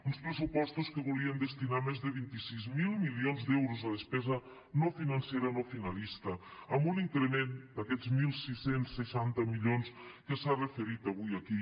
uns pressupostos que volien destinar més de vint sis mil milions d’euros a despesa no financera no finalista amb un increment d’aquests setze seixanta milions que s’ha referit avui aquí